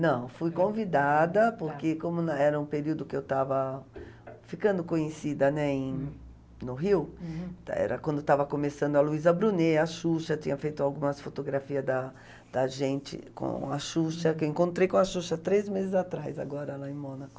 Não, fui convidada, porque como na, era um período que eu estava ficando conhecida, né, em no Rio, era quando estava começando a Luísa Brunet, a Xuxa, tinha feito algumas fotografia da da gente com a Xuxa, que eu encontrei com a Xuxa três meses atrás agora lá em Mônaco.